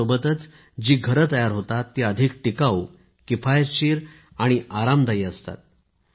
त्यासोबतच जी घरे तयार होतात ती अधिक टिकावू किफायतशीर आणि आरामदायी असतात